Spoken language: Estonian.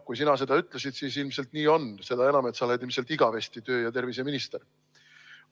Kui sina ütled, siis ilmselt nii on, seda enam, et sa oled ilmselt igavesti tervise- ja tööminister.